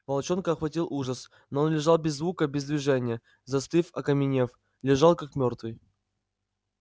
волчонка охватил ужас но он лежал без звука без движения застыв окаменев лежал как мёртвый